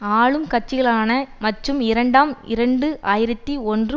ஆளும் கட்சிகளான மற்றும் இரண்டாம் இரண்டு ஆயிரத்தி ஒன்று